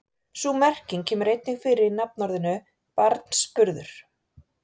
Sú merking kemur einnig fyrir í nafnorðinu barnsburður.